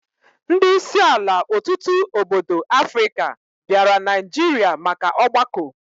Ndi isi ala otutu obodo Africa biara Naijiria maka ogbako